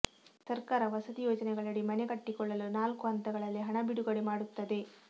ಸರ್ಕಾರ ವಸತಿ ಯೋಜನೆಗಳಡಿ ಮನೆ ಕಟ್ಟಿಕೊಳ್ಳಲು ನಾಲ್ಕು ಹಂತಗಳಲ್ಲಿ ಹಣ ಬಿಡುಗಡೆ ಮಾಡುತ್ತದೆ